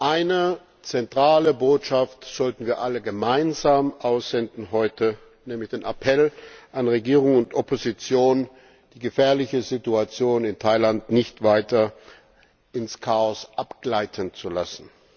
Eine zentrale Botschaft sollten wir heute alle gemeinsam aussenden, nämlich den Appell an Regierung und Opposition, die gefährliche Situation in Thailand nicht weiter ins Chaos abgleiten zu lassen.